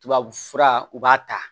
Tubabufura u b'a ta